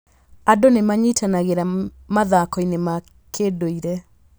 Andũ nĩ manyitanagĩra mathako-inĩ ma kĩndũire.